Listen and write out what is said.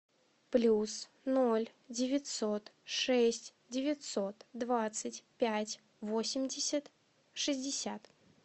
плюс ноль девятьсот шесть девятьсот двадцать пять восемьдесят шестьдесят